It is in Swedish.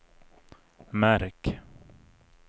märk